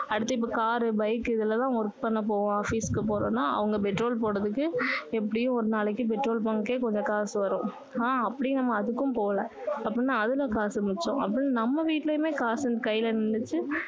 அடுத்து இப்போ car bike இதுல எல்லாம் work பண்ண போவோம் office க்கு போறோம்னா அவங்க petrol போடுறதுக்கு எப்படியும் ஒரு நாளைக்கு petrol bunk ஏ கொஞ்ச காசு வரும் ஆனா அப்படி நம்ம அதுக்கும் போல அப்படின்னா அதுலயும் காசு மிச்சம் அப்படி நம்ம வீட்டுலயும் காசு கைல நின்னுச்சு